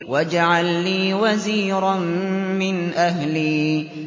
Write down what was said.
وَاجْعَل لِّي وَزِيرًا مِّنْ أَهْلِي